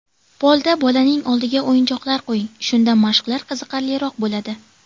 Polda bolaning oldiga o‘yinchoqlar qo‘ying, shunda mashqlar qiziqarliroq bo‘ladi.